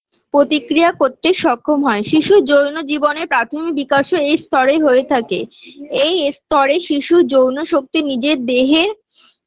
প্রতিক্রিয়া করতে সক্ষম হয় শিশুর যৌন জীবনে প্রাথমিক বিকাশও এই স্তরেই হয়ে থাকে এই স্তরে শিশুর যৌন শক্তি নিজের দেহের